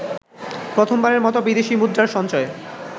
প্রথমবারের মত বিদেশি মুদ্রার সঞ্চয়